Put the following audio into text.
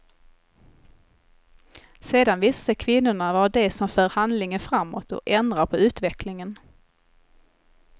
Sedan visar sig kvinnorna vara de som för handlingen framåt och ändrar på utvecklingen.